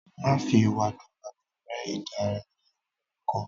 Má fi wàdùwàdù ré idà ní oríkọ̀ọ́